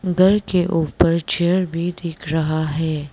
घर के ऊपर चेयर भी दिख रहा है।